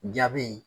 Jaabi